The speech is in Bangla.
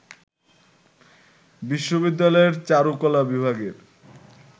বিশ্ববিদ্যালয়ের চারুকলা বিভাগের